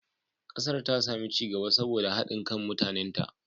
Kasar ta sami ci gaba saboda haɗin kan mutanenta.